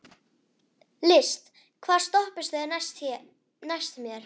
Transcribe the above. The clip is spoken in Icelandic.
List, hvaða stoppistöð er næst mér?